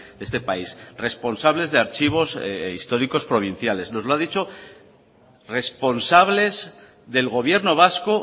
de este país responsables de archivos históricos provinciales nos lo han dicho responsables del gobierno vasco